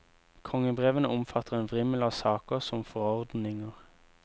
Kongebrevene omfatter en vrimmel av saker som forordninger.